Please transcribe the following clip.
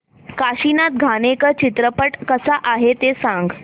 काशीनाथ घाणेकर चित्रपट कसा आहे ते सांग